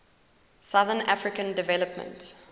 southern african development